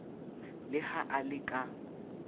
le ha a le ka